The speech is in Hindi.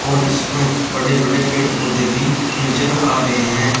और इस पर जो बड़े बड़े पेड़ पौधे भी नजर आ रहे हैं।